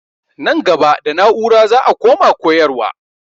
Nan gaba da na'ura za a koma koyarwa.